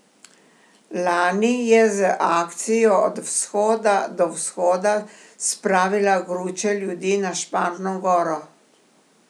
Lani je z akcijo Od vzhoda do vzhoda spravila gruče ljudi na Šmarno goro.